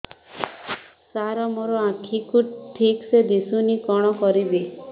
ସାର ମୋର ଆଖି କୁ ଠିକସେ ଦିଶୁନି କଣ କରିବି